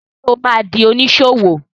Ṣé o ma di oníṣòwò?